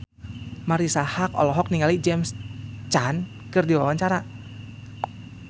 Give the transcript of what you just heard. Marisa Haque olohok ningali James Caan keur diwawancara